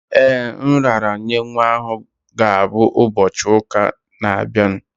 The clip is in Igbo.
Ee, nraranye nwa ahụ ga-abụ ụbọchị ụka na-abịa.